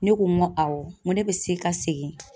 Ne ko n ko awɔ, n ko ne bɛ se ka segin.